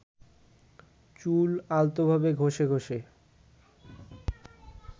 চুল আলতোভাবে ঘষে ঘষে